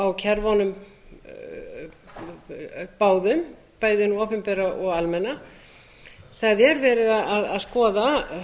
á kerfunum báðum bæði hinu opinbera og almenna það er verið að skoða